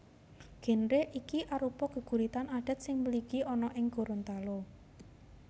Génre iki arupa geguritan adat sing mligi ana ing Gorontalo